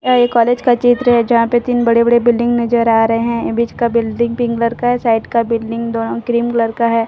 यह एक कॉलेज का चित्र है जहां पे दिन बड़े बड़े बिल्डिंग नजर आ रहे हैं बीच का बिल्डिंग पिंक कलर का है साइड का बिल्डिंग दोनों क्रीम कलर का है।